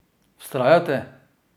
Vztrajajte!